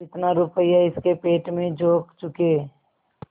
जितना रुपया इसके पेट में झोंक चुके